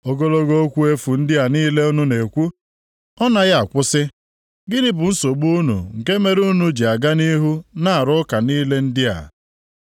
Ogologo okwu efu ndị a niile unu na-ekwu, ọ naghị akwụsị? Gịnị bụ nsogbu unu nke mere unu ji aga nʼihu na-arụ ụka niile ndị a?